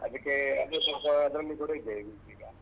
ಅದಿಕ್ಕೇ ಅಂದ್ರೆ ಸ್ವಲ್ಪ ಅದ್ರಲ್ಲಿ ಕೂಡ ಇದ್ದೇವೆ ಈಗ.